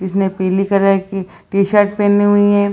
जिसने पिली कलर की टी-शर्ट पहनी हुई है।